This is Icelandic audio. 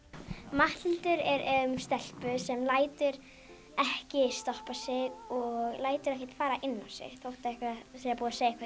Matthildur er um stelpu sem lætur ekki stoppa sig og lætur ekkert fara inn á sig þótt það sé búið að segja eitthvað